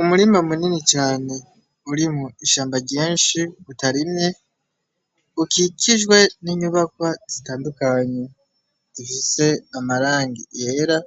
Umurima munini cane uri mw'ishamba ryinshi utarimye, ukikijwe n'ibibambazi bitandukanye bifise amarangi yera,